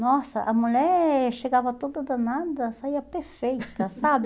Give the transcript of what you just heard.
Nossa, a mulher chegava toda danada, saía perfeita, sabe?